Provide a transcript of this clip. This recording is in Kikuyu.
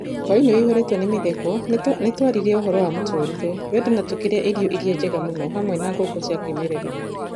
Hũainĩ wĩhũrĩtwo nĩ mĩtheko, nĩtwaririe ũhoro wa mũtũrĩre, wendo na tũkĩrĩa irio iria njega mũno hamwe na ngũkũ cia kĩmerera.